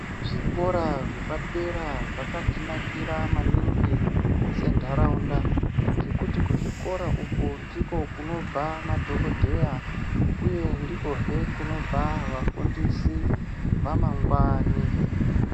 Zvikora zvepadera zvakatinakira maningi sentaraunda ngekuti kuzvikora uku ndiko kunobva madhokodheya uye ndikohe kunobva vafundisi vamangwani.